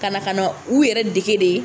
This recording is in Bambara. Ka na ka na u yɛrɛ dege de